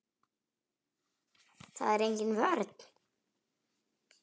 Það er engin vörn.